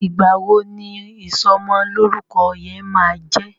Igba wo ní ìsomo lórúko yén má jé?